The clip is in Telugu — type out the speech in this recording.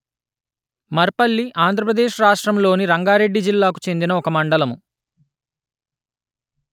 మర్‌పల్లి ఆంధ్ర ప్రదేశ్ రాష్ట్రములోని రంగారెడ్డి జిల్లాకు చెందిన ఒక మండలము